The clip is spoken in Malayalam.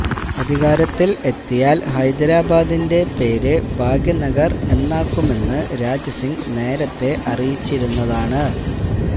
അധികാരത്തില് എത്തിയാല് ഹൈദരാബാദിന്റെ പേര് ഭാഗ്യ നഗര് എന്നാക്കുമെന്ന് രാജ സിങ് നേരത്തെ അറിയിച്ചിരുന്നതാണ്